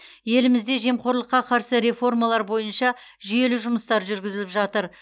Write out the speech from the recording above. елімізде жемқорлыққа қарсы реформалар бойынша жүйелі жұмыстар жүргізіліп жатыр